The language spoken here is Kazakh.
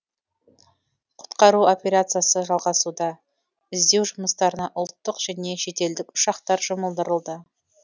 құтқару операциясы жалғасуда іздеу жұмыстарына ұлттық және шетелдік ұшақтар жұмылдырылды